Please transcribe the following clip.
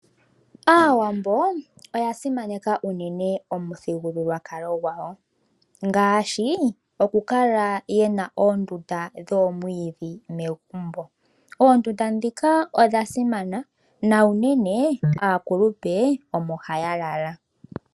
Aawambo oya simaneka unene omuthigululwakalo gwawo, ngaashi oku kala yena oondunda dhomwiidhi megumbo. Oondunda ndhika odha simana, na unene aakulupe omo ha ya lala.